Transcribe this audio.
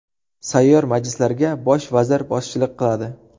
Sayyor majlislarga Bosh vazir boshchilik qiladi.